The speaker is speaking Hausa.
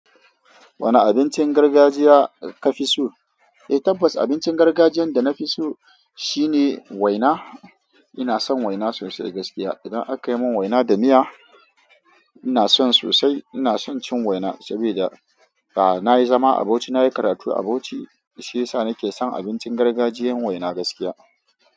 Wane abincin gargajiya ka fi so? Eh, tabbas abincin gargajiyan da na fi so shine waina. Ina son waina sosai gaskiya. Idan aka yi mun waina da miya, ina son sosai. Ina son cin waina sabida, a'a na yi zama a Bauchi na yi karatu a Bauchi. Shi ya sa ni ke son abincin gargajiyan waina gaskiya.